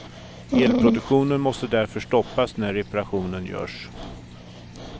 Elproduktionen måste därför stoppas när reparationen görs.